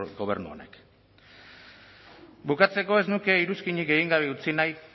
gobernu honek bukatzeko ez nuke iruzkinik egin gabe utzi nahi